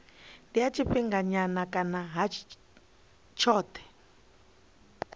ha tshifhinganyana kana ha tshothe